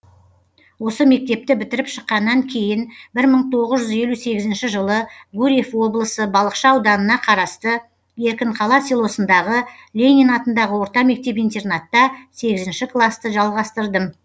осы мектепті бітіріп шыққаннан кейін бір мың тоғыз жүз елу сегізінші жылы гурьев облысы балықшы ауданына қарасты еркінқала селосындағы ленин атындағы орта мектеп интернатта сегізінші классты жалғастырдым